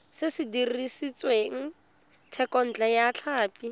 se dirisitswe thekontle ya tlhapi